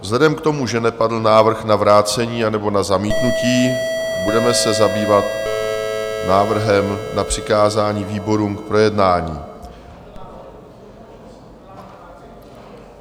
Vzhledem k tomu, že nepadl návrh na vrácení nebo na zamítnutí, budeme se zabývat návrhem na přikázání výborům k projednání.